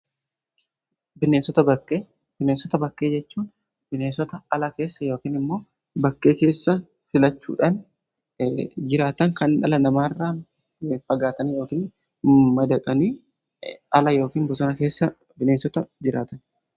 Bineensota bakkee jechuun bineensota ala keessa ykn immoo bakkee keessa filachuudhaan jiraatan kan ala namarraa fagaatanii yookiin madaqanii ala ykn bosona bineensota jiraatanidha.